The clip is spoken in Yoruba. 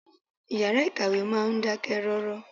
Ìyàrá ìkàwé máa ń dákẹ́ rọ́rọ́.